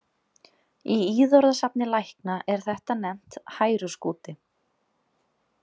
Í íðorðasafni lækna er þetta nefnt hæruskúti.